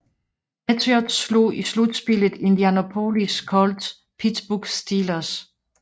Patriots slog i slutspillet Indianapolis Colts og Pittsburg Steelers